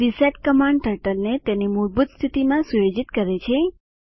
reset command ટર્ટલને તેની મૂળભૂત સ્થિતિમાં સુયોજિત કરે છે